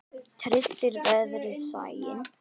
Tryllir veðrið sæinn.